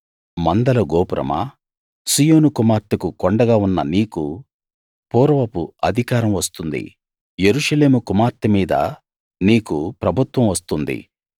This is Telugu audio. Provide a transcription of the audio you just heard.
మందల గోపురమా సీయోను కుమార్తెకు కొండగా ఉన్న నీకు పూర్వపు అధికారం వస్తుంది యెరూషలేము కుమార్తెమీద నీకు ప్రభుత్వం వస్తుంది